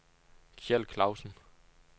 Kjeld Clausen